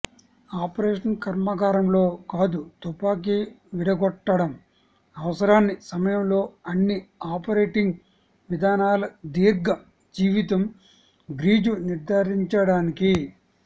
operation కర్మాగారంలో కాదు తుపాకీ విడగొట్టడం అవసరాన్ని సమయంలో అన్ని ఆపరేటింగ్ విధానాల దీర్ఘ జీవితం గ్రీజు నిర్ధారించడానికి